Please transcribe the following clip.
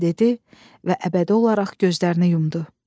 Dedi və əbədi olaraq gözlərini yumdu.